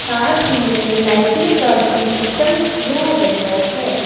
साथ ही में लाइटिंग का भी सिस्टम किया गया है।